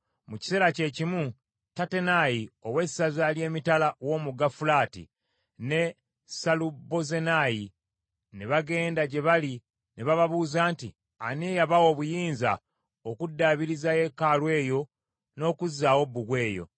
Mu kiseera kyekimu Tattenayi ow’essaza ly’emitala w’omugga Fulaati, ne Sesalubozenayi ne bagenda gye bali ne bababuuza nti, “Ani eyabawa obuyinza okuddaabiriza yeekaalu eyo n’okuzaawo bbugwe oyo?”